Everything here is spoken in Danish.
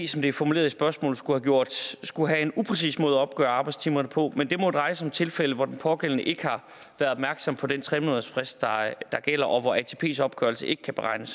som det er formuleret i spørgsmålet skulle have en upræcis måde at opgøre arbejdstimer på men det må dreje sig om tilfælde hvor den pågældende ikke har været opmærksom på den tre månedersfrist der gælder og hvor atps opgørelse ikke kan beregnes